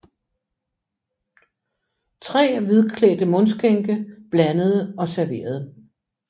Tre hvidklædte mundskænke blandede og serverede